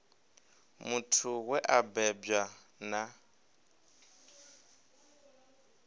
muthu we a bebwa na